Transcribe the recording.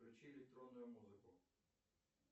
включи электронную музыку